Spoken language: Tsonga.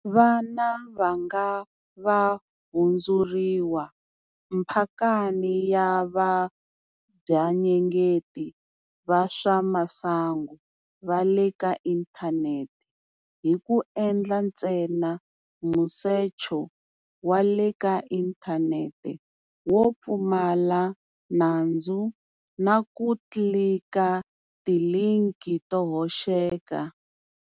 Vana va nga va hundzuriwa mpakani ya vabvanyengeti va swa masangu va le ka inthanete hi ku endla ntsena musecho wa le ka inthanete wo pfumala nandzu na ku tlilika tilinki to hoxeka.